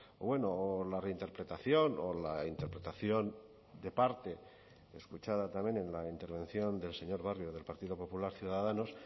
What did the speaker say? o bueno o la reinterpretación o la interpretación de parte escuchada también en la intervención del señor barrio del partido popular ciudadanos